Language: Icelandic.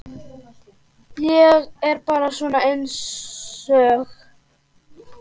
Ég er bara svona einsog.